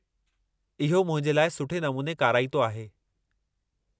इहो मुंहिंजे लाइ सुठे नमूने काराइतो आहे।